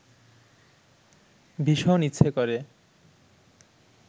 ভীষণ ইচ্ছে করে